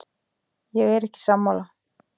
Ég er ekki sammála.